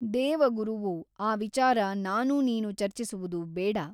ದೇವಗುರುವು ಆ ವಿಚಾರ ನಾನೂ ನೀನೂ ಚರ್ಚಿಸುವುದು ಬೇಡ.